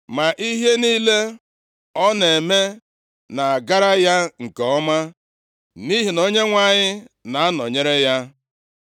Ma ihe niile ọ na-eme na-agara ya nke ọma, nʼihi na Onyenwe anyị na-anọnyere ya. + 18:14 \+xt Jen 39:2,3,23; Jos 6:27; 1Sa 16:18\+xt*